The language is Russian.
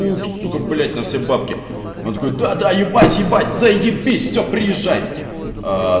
ух сука блять на все бабки он такой да да ебать ебать заебись все приезжай аа